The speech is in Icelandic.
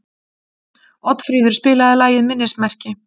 Oddfríður, spilaðu lagið „Minnismerki“.